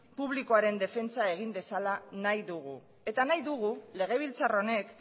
publikoaren defentsa egin dezala nahi dugu eta nahi dugu legebiltzar honek